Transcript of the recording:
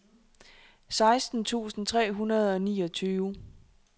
seksten tusind tre hundrede og niogtyve